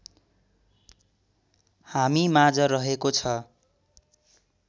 हामीमाझ रहेको छ